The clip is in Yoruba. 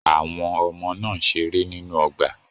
Àwọn ọmọ náà ń ṣeré nínú ọgbà.